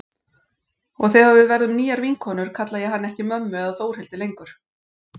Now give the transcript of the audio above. Og þegar við verðum nýjar vinkonur kalla ég hana ekki mömmu eða Þórhildi lengur.